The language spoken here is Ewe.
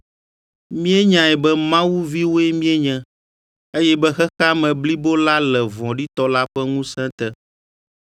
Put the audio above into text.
Míenyae be Mawu viwoe míenye, eye be xexea me blibo la le vɔ̃ɖitɔ la ƒe ŋusẽ te.